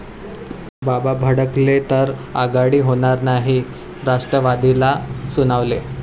बाबा' भडकले,...तर आघाडी होणार नाही राष्ट्रवादीला सुनावले